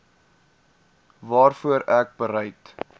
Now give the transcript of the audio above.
waarvoor ek bereid